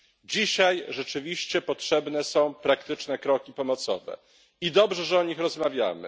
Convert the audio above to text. Dzisiaj rzeczywiście potrzebne są praktyczne kroki pomocowe i dobrze, że o nich rozmawiamy.